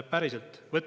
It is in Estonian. Päriselt!